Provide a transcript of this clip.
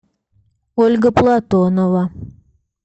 ольга платонова